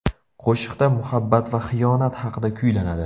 Qo‘shiqda muhabbat va xiyonat haqida kuylanadi.